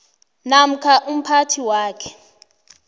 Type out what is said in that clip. namkha umphathi wakhe